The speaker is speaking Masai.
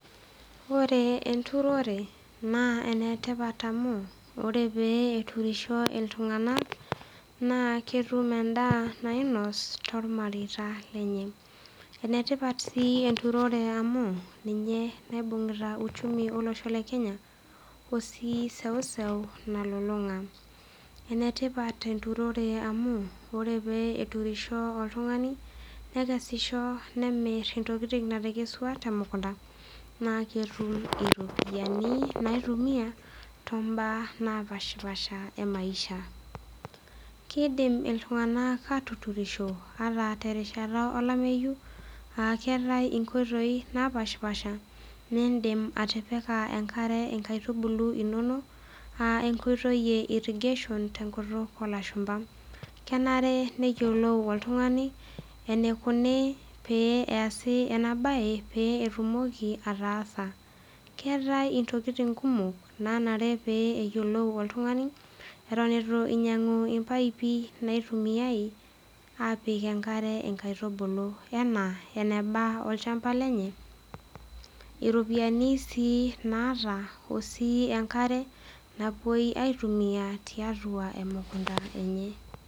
Ore enturore naa ene tipat amu ore pee eturisho iltung'anak naa ketum endaa nainos tormareita lenye. Ene tipat sii enturore amu ninye naibung'ita uchumi olosho le Kenya oo sii iseuseu nalulung'a. Ene tipat enturore amu ore pee eturisho oltung'ani nekesisho, nemir intokitin natekesua te mukunda naake etum iropiani, nitumia too mbaa napaashipaasha e maisha. Kiidim iltung'anak aatuturisho ata terishata olameyu aa keetai inkoitoi napaashipaasha niindim atipika enkare inkaitubulu inonok aa enkoitoi e irrigation te nkutuk oolashumba. Kenare neyiolou oltung'ani enikuni pee easi ena baye pee etumoki ataasa, keetai intokitin kumok nanare pee eyiolou oltung'ani eton itu inyang'u impaipi naitumiai aapik enkare inkaitubulu enaa eneba olchamba lenye, iropiani sii naata oo sii enkare napuei aitumia tiatua emukunda enye.